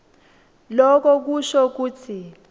loko kusho kutsi